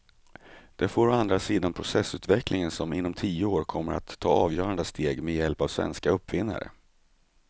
Det får å andra sidan processorutvecklingen som inom tio år kommer att ta avgörande steg med hjälp av svenska uppfinnare.